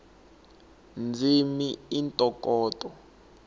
ndzimi i ntokoto